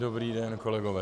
Dobrý den, kolegové.